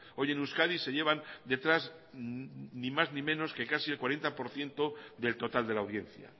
hoy en euskadi se llevan detrás ni más ni menos que casi el cuarenta por ciento del total de la audiencia